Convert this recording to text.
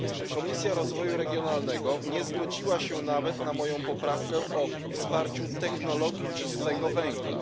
Komisja Rozwoju Regionalnego nie zgodziła się nawet na moją poprawkę o wsparciu technologii czystego węgla.